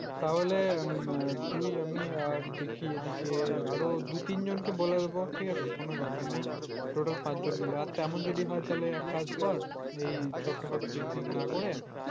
তাহলে তুই আমি আর দেখিয়ে দিকে আরো দু তিনজনকে বলে দেবো ঠিক আছে কোন ব্যাপার নেই total পাঁচ জন মিলে আর তেমন যদি হয় তাহলে এক কাজ কর । এই ছোটখাটো picnic না করে